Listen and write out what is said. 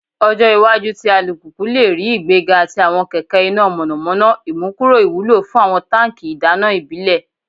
Ọjọ iwaju ti alupupu le rii igbega ti awọn kẹkẹ ina mọnamọna, imukuro iwulo fun awọn tanki idana ibile